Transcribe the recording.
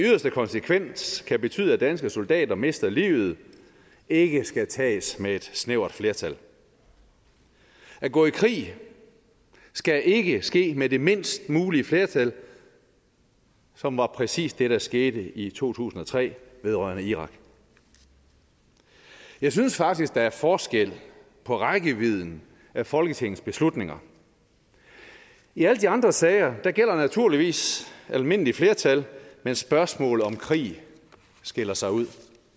konsekvens kan betyde at danske soldater mister livet ikke skal tages med et snævert flertal at gå i krig skal ikke ske med det mindst mulige flertal som var præcis det der skete i to tusind og tre vedrørende irak jeg synes faktisk der er forskel på rækkevidden af folketingets beslutninger i alle de andre sager gælder naturligvis almindelig flertal men spørgsmål om krig skiller sig ud